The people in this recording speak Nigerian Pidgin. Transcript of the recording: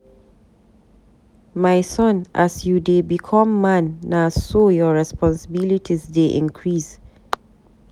My son as you dey become man, na so your responsilities dey increase.